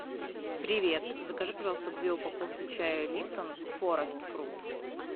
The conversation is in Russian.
привет закажи пожалуйста две упаковки чая липтон форест фрут